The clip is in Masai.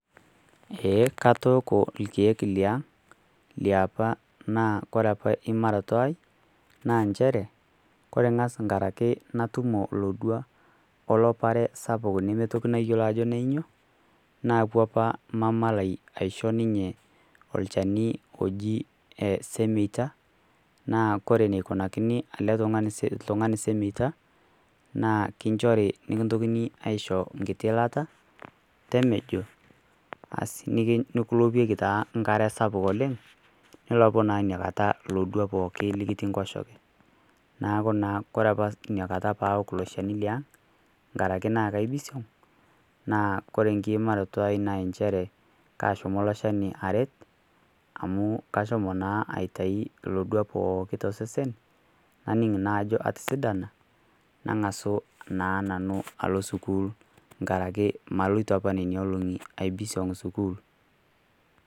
Ee katooko lkiek liang' liapa naa kore apa imaroto aai naa kore apa imaroto aai naa enchere kore ng'as nkaraki natumo lodwa o lopare sapuk neeitoki nayuolo ajo nenyoo naapuo apa mama lai aisho ninye olchani oji semeita naa kore neikunakini ltung'ani semeita naa kinchori nikintokini aisho nkiti ilata temejo asi nikilopieki taa nkare sapuk oleng' nulopu naa nia kata lodwa pooki likitii nkoshoke. Naaku naa kore apa nia kata paawok lo shani liang' nkaraki naa kaibisiong' naa kore nkiimaroto aai naa enchere kaashomo lo shani aret amu kashomo naa aitai lodwa pooki to sesen naning' naa ajo atisidana nang'asu naa nanu alo sukuul nkaraki maloito apa nenia oong'i aibisiong' sukuul.